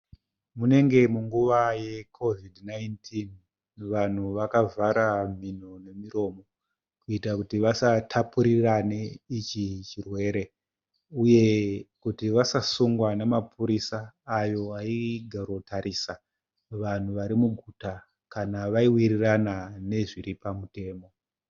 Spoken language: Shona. Munenge munguva yeCovi 19. Vanhu vakavhara mhino nemiromo kuita kuti vasatapurirane ichi chirwere uye kuti vasasungwa namapurisa ayo aigaro tarisa vanhu vari muguta kana vaiwirirana nezviri pamutemo.